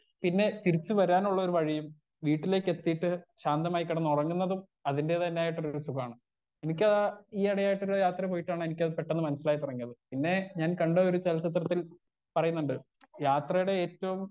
Speaker 1 പിന്നെ തിരിച്ച് വരാനുള്ളൊരു വഴിയും വീട്ടിലെത്തീട്ട് ശാന്തമായി കെടന്നുറങ്ങുന്നതും അതിന്റതന്നെയായിട്ടൊരു സുഖാണ് എനിക്കതാ ഈ എടയായിട്ടൊരു യാത്ര പോയിട്ടാണ് എനിക്കത് പെട്ടന്ന് മനസ്സിലായത് പിന്നെ ഞാൻ കണ്ടൊരു ചലച്ചിത്രത്തിൽ പറയുന്നുണ്ട് യാത്രെടെ ഏറ്റോം.